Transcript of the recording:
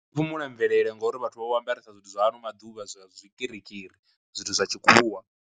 Phumula mvelele ngauri vhathu vha vha vho ambaresa zwithu zwa ano maḓuvha zwa zwikirikiri zwithu zwa tshikhuwa.